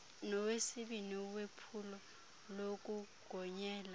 nowesibini wephulo lokugonyela